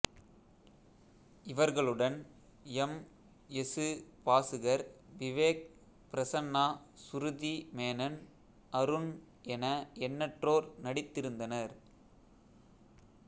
இவர்களுடன் M S Bhaskar Vivek Prasanna Shruti Menon Arun என எண்ணற்றோர் நடித்திருந்தனர்